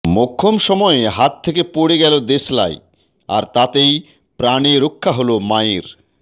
মোক্ষম সময়ে হাত থেকে পড়ে গেল দেশলাই আর তাতেই প্রাণেরক্ষা হল মায়ের